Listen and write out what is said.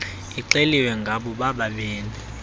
ixeliwe ngabo bobabini